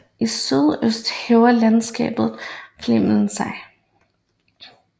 I sydøst hæver landskabet Fläming sig